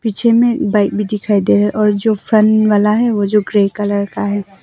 पीछे में बाइक भी दिखाई दे रहा है और जो फन वाला है वो जो ग्रे कलर का है।